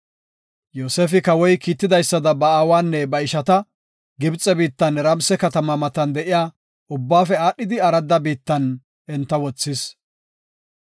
Yoosefi kawoy kiitidaysada ba aawanne ba ishata Gibxe biittan Ramse katama matan de7iya ubbaafe aadhida arada biittan enta wothis.